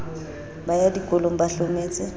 ba ya dikolong ba hlometse